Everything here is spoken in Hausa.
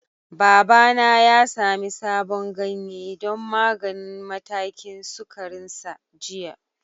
Babana ya sami sabon ganye don maganin matakin sukarinsa jiya.